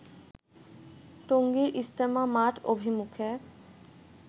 টঙ্গীর ইজতেমা মাঠ অভিমুখে